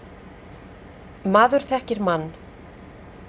Maður þekkir mann.